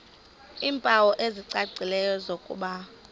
iimpawu ezicacileyo zokuba